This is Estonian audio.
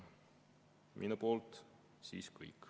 Minu poolt kõik.